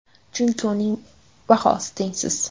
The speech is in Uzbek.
Chunki uning bahosi tengsiz.